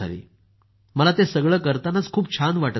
मला ते सगळं करतानांच खूप छान वाटत असे